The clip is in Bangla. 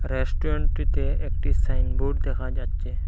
রেস্টুরেন্টটিতে একটি সাইনবোর্ড দেখা যাচ্ছে।